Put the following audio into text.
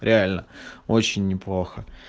реально очень неплохо